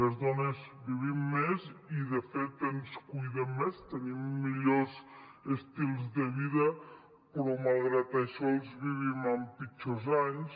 les dones vivim més i de fet ens cuidem més tenim millors estils de vida però malgrat això els vivim amb pitjor qualitat